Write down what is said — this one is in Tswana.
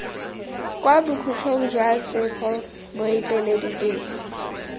kwa bokhutlong jwa tsheko moeteledipele